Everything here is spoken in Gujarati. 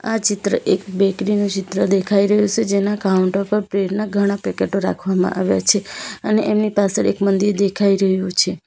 આ ચિત્ર એક બેકરી નું ચિત્ર દેખાઈ રહ્યું સે જેના કાઉન્ટર પર બ્રેડ ના ઘણા પેકેટો રાખવામાં આવ્યા છે અને એમની પાસળ એક મંદિર દેખાઈ રહ્યું છે.